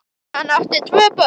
Hann átti tvö börn.